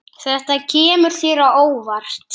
Þetta kemur þér á óvart.